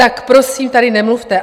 Tak prosím tady nemluvte.